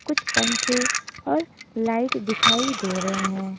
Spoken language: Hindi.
कुछ पंखे और लाइट दिखाई दे रहे हैं।